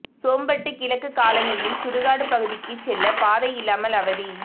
சோம்பட்டு கிழக்கு காலனியில் சுடுகாடு பகுதிக்கு செல்ல பாதை இல்லாமல் அவதி